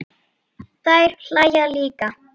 Þær hlæja líka.